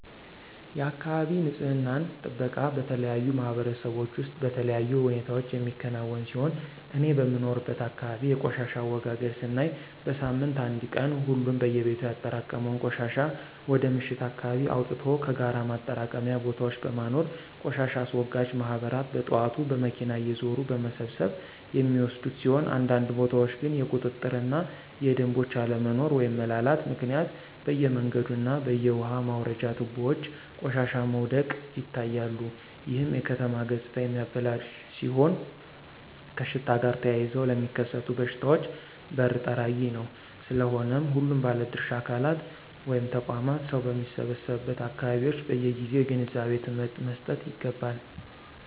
የአካባቢ ንፅህና ጥበቃ በተለያዩ ማህበረሰቦች ውስጥ በተለያዩ ሁኔታዎች የሚከናወን ሲሆን እኔ በምኖርበት አካባቢ የቆሻሻ አወጋገድ ስናይ በሳምንት አንድ ቀን ሁሉም በየቤቱ ያጠራቀመውን ቆሻሻ ወደ ምሽት አካባቢ አወጥቶ ከጋራ ማጠራቀሚያ ቦታዎች በማኖር ቆሻሻ አስወጋጅ ማህበራት በጥዋት በመኪና እየዞሩ በመሰብሰብ የሚወስዱት ሲሆን አንዳንድ ቦታዎች ግን የቁጥጥር እና የደምቦች አለመኖሮ (መላላት)ምክንያት በየመንገዱ እና በየውሃ መውረጃ ትቦዎች ቆሻሻዎች ወድቀው ይታያሉ ይህም የከተማ ገፅታ የሚያበላሽ ሲሆን ከሽታ ጋር ተያይዘው ለሚከሰቱ በሽታዎች በር ጠራጊ ነው። ስለሆነም ሁሉም ባለድርሻ አካላት (ተቋማት) ሰው በሚሰበሰቡበት አካባቢዎች በየጊዜው የግንዛቤ ትምህርት መሰጠት ይገባል።